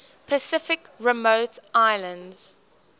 pacific remote islands